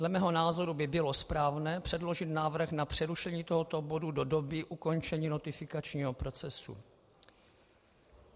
Dle mého názoru by bylo správné předložit návrh na přerušení tohoto bodu do doby ukončení notifikačního procesu.